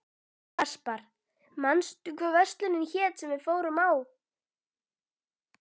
Aspar, manstu hvað verslunin hét sem við fórum í á fimmtudaginn?